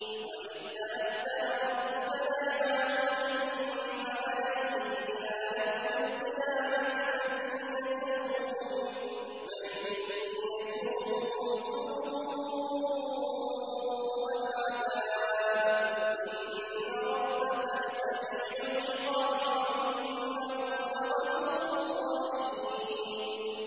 وَإِذْ تَأَذَّنَ رَبُّكَ لَيَبْعَثَنَّ عَلَيْهِمْ إِلَىٰ يَوْمِ الْقِيَامَةِ مَن يَسُومُهُمْ سُوءَ الْعَذَابِ ۗ إِنَّ رَبَّكَ لَسَرِيعُ الْعِقَابِ ۖ وَإِنَّهُ لَغَفُورٌ رَّحِيمٌ